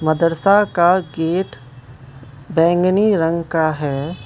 मदरसा का गेट बैंगनी रंग का हैं।